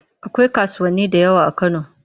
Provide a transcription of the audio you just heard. Akwai kasuwanni da yawa a Kano.